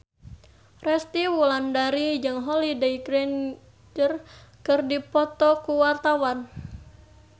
Resty Wulandari jeung Holliday Grainger keur dipoto ku wartawan